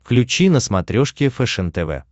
включи на смотрешке фэшен тв